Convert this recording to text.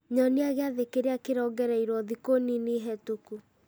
nyonia gĩathĩ kĩrĩa kĩrongereirwo thikũ nini hetũku